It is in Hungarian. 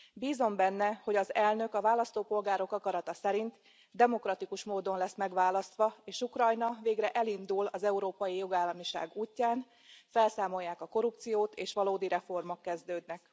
Bízom benne, hogy az elnök a választópolgárok akarata szerint, demokratikus módon lesz megválasztva, és Ukrajna végre elindul az európai jogállamiság útján, felszámolják a korrupciót, és valódi reformok kezdődnek.